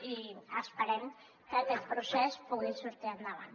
i esperem que aquest procés pugui sortir endavant